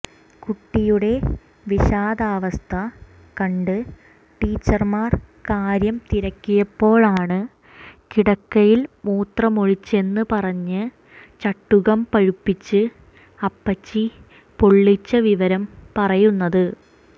കുട്ടിയുടെ വിഷാദാവസ്ഥ കണ്ട് ടീച്ചർമാർ കാര്യം തിരക്കിയപ്പോഴാണ് കിടക്കയിൽ മൂത്രമൊഴിച്ചെന്ന് പറഞ്ഞ് ചട്ടുകം പഴുപ്പിച്ച് അപ്പച്ചി പൊള്ളിച്ച വിവരം പറയുന്നത്